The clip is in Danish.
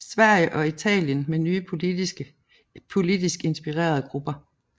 Sverige og Italien med nye politisk inspirerede grupper